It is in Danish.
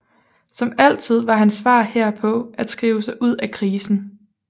Som altid var hans svar herpå at skrive sig ud af krisen